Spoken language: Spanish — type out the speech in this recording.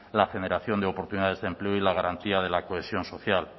la generación de oportunidades de empleo y la garantía de la cohesión social